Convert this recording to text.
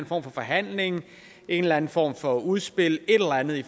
form for forhandling en eller anden form for udspil et eller andet i